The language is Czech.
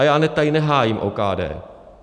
A já tady nehájím OKD.